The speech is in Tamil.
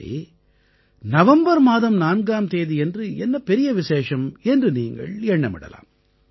சரி நவம்பர் மாதம் 4ஆம் தேதியன்று என்ன பெரிய விசேஷம் என்று நீங்கள் எண்ணமிடலாம்